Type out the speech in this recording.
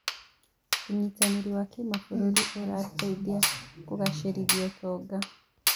ũnyitanĩri wa kĩmabũrũri ũrateithia kũgacĩrithia ũtonga.